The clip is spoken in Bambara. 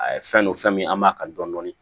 A ye fɛn don fɛn min an b'a kan dɔɔni